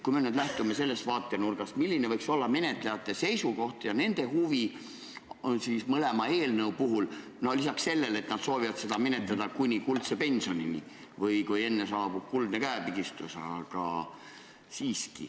Kui me nüüd lähtume sellest vaatenurgast, siis milline võiks olla menetlejate seisukoht ja nende huvi on mõlema eelnõu puhul – no lisaks sellele, et nad soovivad seda menetleda, kuni jõutakse kuldse pensionini, kui saabub kuldne käepigistus?